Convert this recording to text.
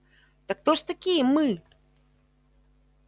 так кто же такие мы